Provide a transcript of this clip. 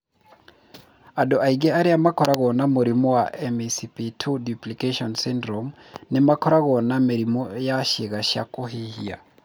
Andũ aingĩ arĩa makoragwo na mũrimũ wa MECP2 duplication syndrome nĩ makoragwo na mĩrimũ ya ciĩga cia kũhuhia.